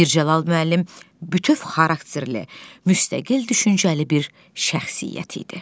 Mirzəcəlal müəllim bütöv xarakterli, müstəqil düşüncəli bir şəxsiyyət idi.